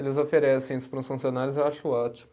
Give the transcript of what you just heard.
Eles oferecem isso para os funcionários e eu acho ótimo.